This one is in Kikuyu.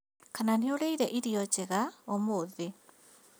Kana nĩũrĩire irio njega ũmũthĩ?